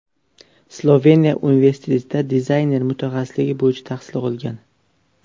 Sloveniya universitetida dizayner mutaxassisligi bo‘yicha tahsil olgan.